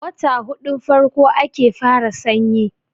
wata hudun farko ake fara sanyi